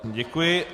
Děkuji.